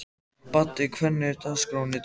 Baddi, hvernig er dagskráin í dag?